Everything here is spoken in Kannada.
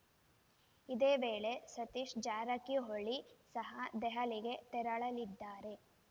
ಇದೇ ವೇಳೆ ಸತೀಶ್‌ ಜಾರಕಿಹೊಳಿ ಸಹ ದೆಹಲಿಗೆ ತೆರಳಲಿದ್ದಾರೆ